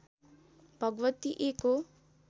भगवती एक हो